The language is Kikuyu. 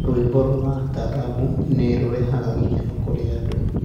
Rwĩmbo rwa Taarab nĩ rũrehaga gĩkenokũrĩ andũ.